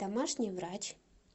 домашний врач